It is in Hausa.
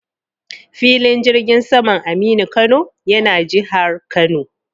Filin jirgin saman Aminu Kano yana jihar Kano.